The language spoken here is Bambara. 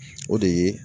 O de ye